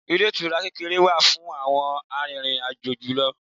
Ilé ìtura kékeré wà fún àwọn arìnrìn-àjò julọ.